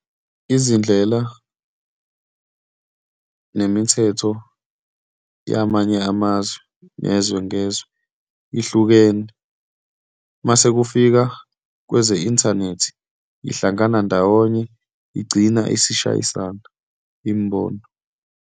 Izindlela nemithetho yamanye amazwe, ngezwe ngezwe, ihlukene. Uma sekufika kweze-inthanethi, ihlangana ndawonye igcina isishayisana imibono.